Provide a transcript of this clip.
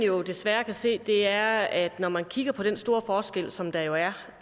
jo desværre kan se er at når man kigger på den store forskel som der jo er